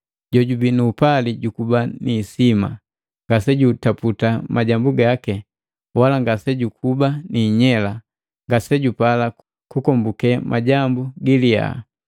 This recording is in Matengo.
Jojubii nu upali jukuba ni hisima, ngasejutaputa majambu gaki, wala ngasejukuba niinyela, ngasejupala kukombuke majambu giliya.